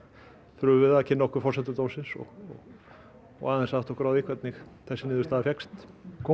þurfum við að kynna okkur forsendur dómsins og og aðeins að átta okkur á því hvernig þessi niðurstaða fékkst kom